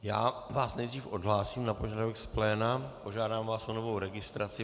Já vás nejdřív odhlásím na požadavek z pléna, požádám vás o novou registraci.